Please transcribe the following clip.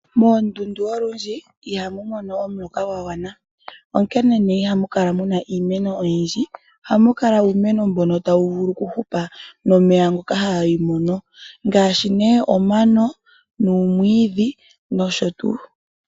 Moondundu olundji ihamu mono omuloka gwa gwana onkene nee ihamu kala muna iimeno oyindji, ohamu kala uumeno mbono tawu vulu oku hupa momeya ngoka hayi mono ngaashi nee omano, uumwiidhi nosho tuu.